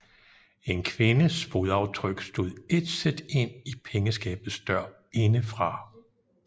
En kvindes fodaftryk stod ætset ind i pengeskabets dør indefra